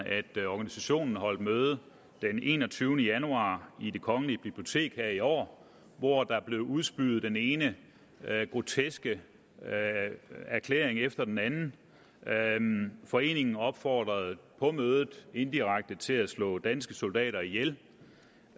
at organisationen holdt møde den enogtyvende januar i det kongelige bibliotek her i år hvor der blev udspyet den ene groteske erklæring efter den anden anden foreningen opfordrede på mødet indirekte til at slå danske soldater ihjel